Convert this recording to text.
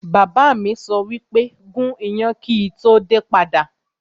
Bàbá mi sọ wípé 'gún iyán kíì tó padà dé!